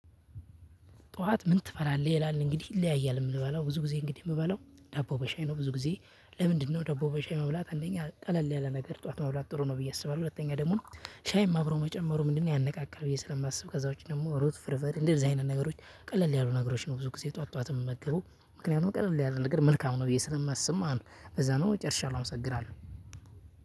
ጠዋት ምን ትበላለህ ይላል እንግዲህ ይለያያል የምበላው ብዙ ጊዜ እንግዲህ የምበላው ዳቦ በሻይ ነው ብዙ ጊዜ? ለምንድነው ዳቦ በሻይ መብላት አንደኛ ቀለል ያለ ነገር ጠዋት መብላት ጥሩ ነው ብዬ አስባለሁ። ሁለተኛ ደግሞ ሻይም አብሮ መጨመሩ ምንድነው ያነቃቃል ብዬ ስለማስብ። ከዛ ውጪ ደግሞ ሩዝ ፍርፍር እንደዚህ አይነት ነገሮች ቀለል ያሉ ነገሮች ነው ብዙ ጊዜ ጠዋት ጠዋት የምመገበው። ምክንያቱም ቀለል ያለ ነገር መልካም ነው ብዬ ስለማስብ ማለት ነው። ለዛ ነው ጨርሻለው አምሰግናለሁ።